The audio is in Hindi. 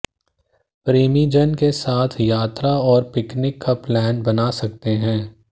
प्रेमी जन के साथ यात्रा और पिकनिक का प्लान बना सकते हैं